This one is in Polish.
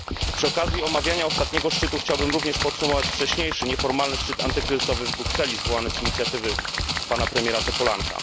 Przy okazji omawiania ostatniego szczytu chciałbym również podsumować wcześniejszy nieformalny szczyt antykryzysowy w Brukseli, zwołany z inicjatywy pana premiera Topolanka.